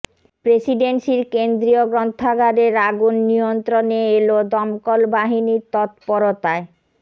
প্রেসিডেন্সির কেন্দ্রীয় গ্রন্থাগারের আগুন নিয়ন্ত্রণে এল দমকল বাহিনীর তৎপরতায়